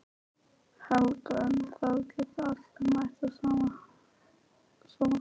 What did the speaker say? Helga: En það geta allir mætt á sama hvaða aldri?